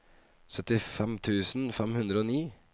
syttifem tusen fem hundre og ni